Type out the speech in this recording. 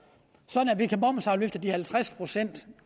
at de halvtreds procent